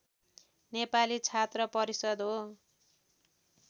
नेपाली छात्र परिषद् हो